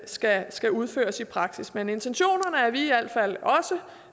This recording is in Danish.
skal skal udføres i praksis men intentionerne er vi i al fald også